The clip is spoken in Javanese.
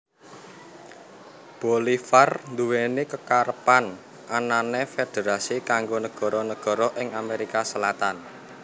Bolivar nduweni kekarepan anane federasi kanggo negara negara ing Amerika Selatan